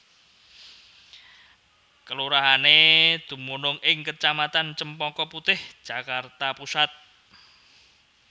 Kelurahané dumunung ing kecamatan Cempaka Putih Jakarta Pusat